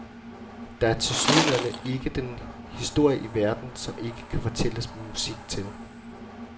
Der er tilsyneladende ikke den historie i verden, som ikke kan fortælles med musik til.